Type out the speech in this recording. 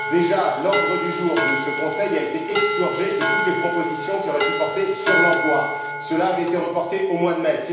Déjà l'ordre du jour de ce Conseil a été expurgé de toutes les propositions qui auraient pu porter sur l'emploi. Cela avait été reporté au mois de mai.